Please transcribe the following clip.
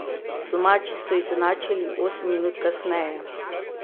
Domači so izenačili osem minut kasneje.